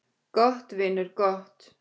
Gott, vinur, gott.